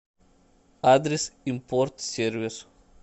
адрес импорт сервис